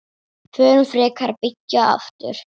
Förum frekar að byggja aftur.